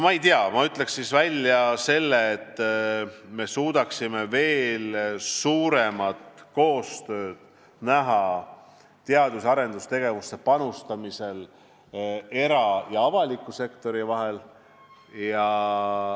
Ma ütlen välja, et me võiksime näha veel suuremat koostööd teadus- ja arendustegevusse panustamisel era- ja avaliku sektori vahel.